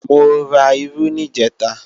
Mo ra irú níjẹ̀ta